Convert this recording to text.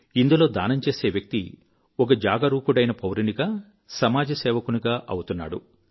ఇందులో దానం చేసే వ్యక్తి ఒక జాగరూకుడైన పౌరునిగా సమాజ సేవకునిగా అవుతున్నాడు